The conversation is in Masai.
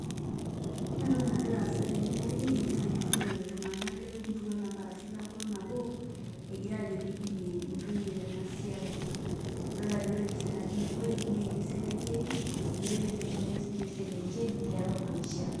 Ore entoki nagira aasa tene wueji naa eitururote iltungana lemurua aashu lenkutuk nabo egira aajo pee eidimie ntoyie tena siai, idol ajo ore empisha natii ina wueji naa ene selenkei ejeitoi pee eilepunyeki sii ninche selenken tiatua maisha.